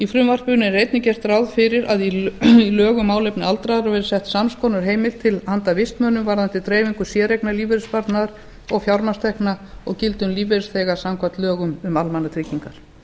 frumvarpinu er einnig gert ráð fyrir að í lög um málefni aldraðra verði sett sams konar heimild til handa vistmönnum varðandi dreifingu séreignarlífeyrissparnaðar og fjármagnstekna og gilda um lífeyrisþega samkvæmt lögum um almannatryggingar